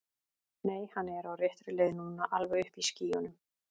Nei, hann er á réttri leið núna. alveg uppi í skýjunum.